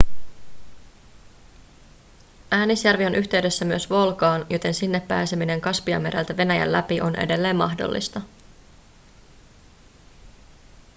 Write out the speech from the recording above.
äänisjärvi on yhteydessä myös volgaan joten sinne pääseminen kaspianmereltä venäjän läpi on edelleen mahdollista